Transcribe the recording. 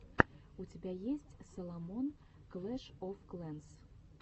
у тебя есть саломон клэш оф клэнс